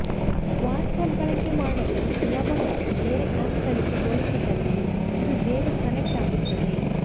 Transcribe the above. WhatsApp ಬಳಕೆ ಮಾಡಲು ಸುಲಭ ಮತ್ತು ಬೇರೆ ಆ್ಯಪ್ಗಳಿಗೆ ಹೋಲಿಸಿದಲ್ಲಿ ಇದು ಬೇಗ ಕನೆಕ್ಟ್ ಆಗುತ್ತದೆ